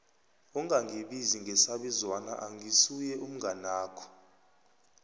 ungangibizi ngesabizwana angisuye umnganakho